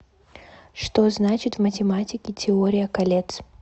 что значит в математике теория колец